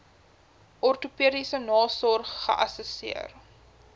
ortopediese nasorg geassesseer